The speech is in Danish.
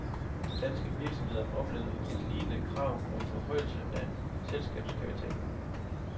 Danske virksomheder oplevede et lignende krav om forhøjelse af selskabskapitalen.